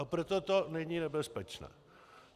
A proto to není nebezpečné.